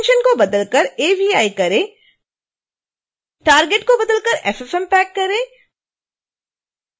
extension को बदल कर avi करें target को बदल कर ffmpeg करें